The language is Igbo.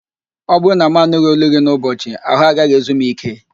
Ọ bụrụ na mụ anụghị ólú gị n'ụbọchị, ahụ gaghị ezu m íké